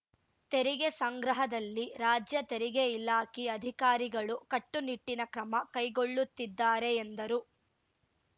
ತೆರಿಗೆ ಸಂಗ್ರಹದಲ್ಲಿ ರಾಜ್ಯ ತೆರಿಗೆ ಇಲಾಖೆ ಅಧಿಕಾರಿಗಳು ಕಟ್ಟುನಿಟ್ಟಿನ ಕ್ರಮ ಕೈಗೊಳ್ಳುತ್ತಿದ್ದಾರೆ ಎಂದರು